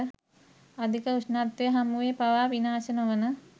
අධික උෂ්ණත්වය හමුවේ පවා විනාශ නොවන